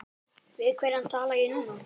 Við hvern tala ég núna?